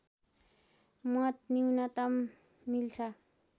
मत न्यूनतम मिल्छ